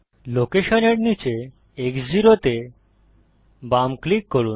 লোকেশনের নীচে X 0 তে বাম ক্লিক করুন